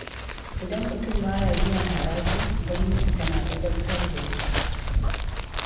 Idan mutum ba ya biyan haraji, gwamnati tana ladabtar da shi